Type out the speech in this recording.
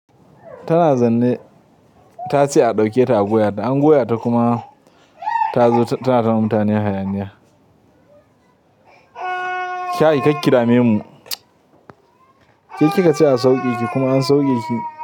Tana zaune, ta ce a ɗauke ta a goya ta an goya ta kuma ta zo tana damun mutane hayaniya. Kai kakki dame mu. Ke kika ce a sauke ki kuma an sauke ki.